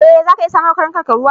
E, zaka iya samar wa karnukanka ruwa.